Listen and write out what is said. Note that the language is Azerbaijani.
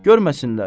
Görməsinlər.